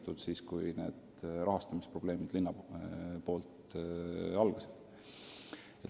See oli siis, kui need rahastamisprobleemid algasid.